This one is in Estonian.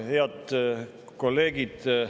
Head kolleegid!